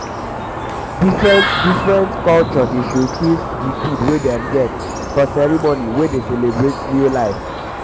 different-different culture dey showcase di food wey dem get for ceremony wey dey celebrate new life.